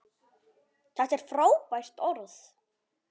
Þetta er frábært orð.